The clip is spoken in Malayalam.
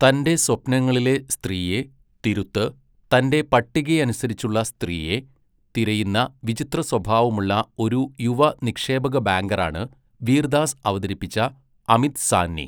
തൻ്റെ സ്വപ്നങ്ങളിലെ സ്ത്രീയെ, തിരുത്ത്, തൻ്റെ പട്ടികയനുസരിച്ചുള്ള സ്ത്രീയെ, തിരയുന്ന വിചിത്രസ്വഭാവമുള്ള ഒരു യുവ നിക്ഷേപക ബാങ്കറാണ് വീർ ദാസ് അവതരിപ്പിച്ച അമിത് സാഹ്നി.